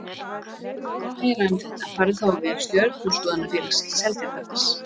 Ef þú vilt vita meira um þetta farðu þá á vef Stjörnuskoðunarfélags Seltjarnarness.